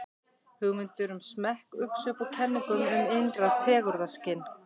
hugmyndir um smekk uxu upp úr kenningum um innra fegurðarskyn